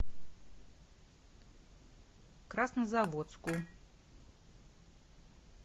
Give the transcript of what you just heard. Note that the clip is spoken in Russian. краснозаводску